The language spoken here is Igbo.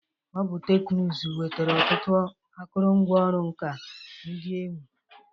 Ọ bụ teknụzụ nwetara ọtụtụ akụrụngwa ọrụ nka ndị na-ewi.